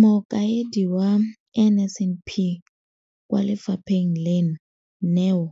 Mokaedi wa NSNP kwa lefapheng leno, Neo